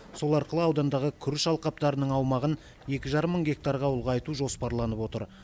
сол арқылы аудандағы күріш алқаптарының аумағын екі жарым мың гектарға ұлғайту жоспарланып отыр